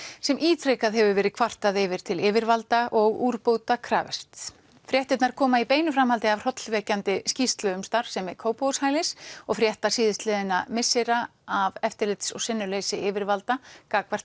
sem ítrekað hefur verið kvartað yfir til yfirvalda og úrbóta krafist fréttirnar koma í beinu framhaldi af hrollvekjandi skýrslu um starfsemi Kópavogshælis og frétta síðastliðinna missera af eftirlits og sinnuleysi yfirvalda gagnvart